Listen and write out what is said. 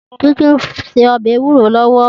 Titi n sé òbè éwúró lòwò